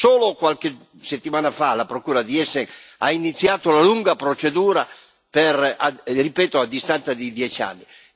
Solo qualche settimana fa la Procura di Essen ha iniziato la lunga procedura, ripeto, a distanza di dieci anni.